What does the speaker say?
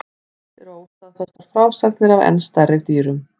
Til eru óstaðfestar frásagnir af enn stærri dýrum.